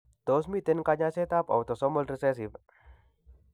Tos miten kanyaiset ab autosomal recessive